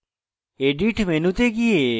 edit মেনুতে go